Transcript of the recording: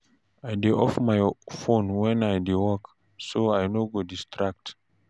I go off my phone when I dey work, so I no go distract.